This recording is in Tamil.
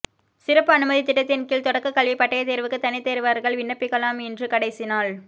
சிறப்பு அனுமதி திட்டத்தின்கீழ் தொடக்க கல்வி பட்டய தேர்வுக்கு தனித்தேர்வர்கள் விண்ணப்பிக்கலாம் இன்று கடைசி நாள்